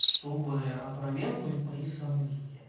чтобы опровергнуть мои сомнения